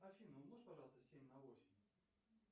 афина умножь пожалуйста семь на восемь